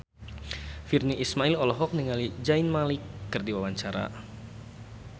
Virnie Ismail olohok ningali Zayn Malik keur diwawancara